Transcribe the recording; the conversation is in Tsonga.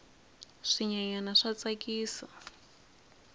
swinyenyani swa tsakisa